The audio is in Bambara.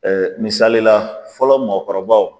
misali la fɔlɔ mɔgɔkɔrɔbaw